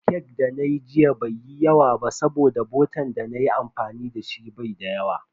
Cake da nayi jiya bai yi yawa ba saboda botan dana yi amfani dashi bai da yawa.